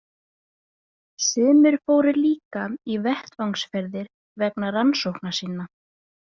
Sumir fóru líka í vettvangsferðir vegna rannsókna sinna.